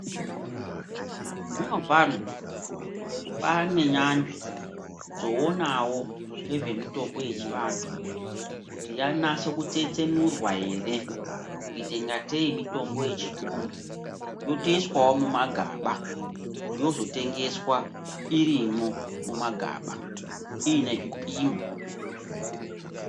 Zvinopano panenyanzvi dzionawo ngezvemitombo yechiantu kuti yanase kutsetsenurwa ere kuite ngatei mitombo yechiyungu yotoiswawo mumagaba yozotwngeswa irimwo mumagaba iine zvipimo.